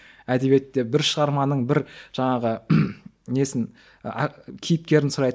әдебиетте бір шығарманың бір жаңағы несін ы кейіпкерін сұрайды